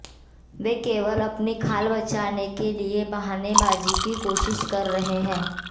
वे केवल अपनी खाल बचाने के लिए बहानेबाजी की कोशिश कर रहे हैं